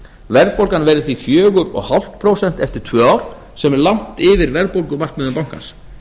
verðbólgan verði því fjögur og hálft prósent eftir tvö ár sem er langt yfir verðbólgumarkmiðum bankans